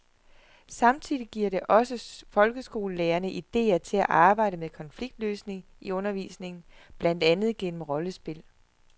Samtidig giver det også folkeskolelærerne idéer til at arbejde med konfliktløsning i undervisningen, blandt andet gennem rollespil.